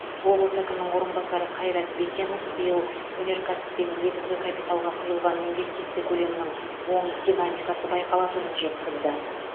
облыс әкімінің орынбасары қайрат бекенов биыл өнеркәсіп пен негізгі капиталға құйылған инвестиция көлемінің оң динамикасы байқалатынын жеткізді